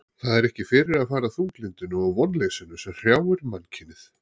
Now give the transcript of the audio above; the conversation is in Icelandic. Það er ekki fyrir að fara þunglyndinu og vonleysinu sem hrjáir mannkynið.